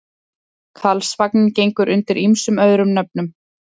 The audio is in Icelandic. Karlsvagninn gengur undir ýmsum öðrum nöfnum.